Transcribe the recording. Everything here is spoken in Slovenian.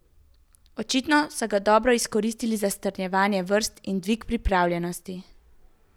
Očitno so ga dobro izkoristili za strnjevanje vrst in dvig pripravljenosti.